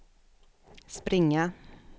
springa